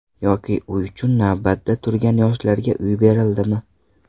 Yoki uy uchun navbatda turgan yoshlarga uy berildimi?